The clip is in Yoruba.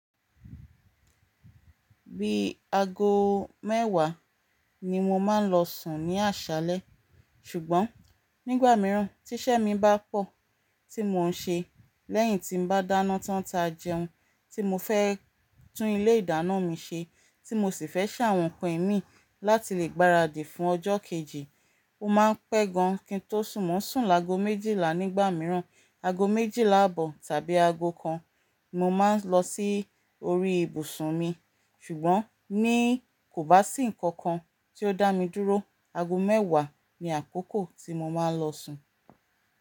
Bí i ago mẹ́wàá ni mo máa ń lọ sùn ní àṣálẹ́. Ṣùgbọ́n nígbà mìíràn tí iṣẹ́ mi bá pọ̀, tí mò ń ṣe lẹ́yìn tí ń bá dáná tán táa jẹun, tí mo fẹ́ tún ilé ìdáná mi ṣe, tí mo sì fẹ́ ṣàwọn nǹkan ìmí láti lè gbaradì fún ọjọ́ kejì, ó máa ń pẹ́ gan kí n tó sùn. Mó ń sùn lágo méjìlá nígbà mìíràn, ago méjìlá àbọ̀ tàbí ago kan ni mo máa ń lọ sí orí ìbùsùn mi. Ṣùgbọ́n ní kò bá sí nǹkan kan tí ó dá mi dúró, ago mẹ́wàá ni àkókò tí mo máa ń lọ sùn.